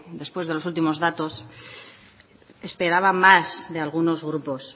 después de los últimos datos esperaba más de algunos grupos